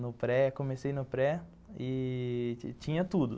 No pré, comecei no pré e tinha tudo.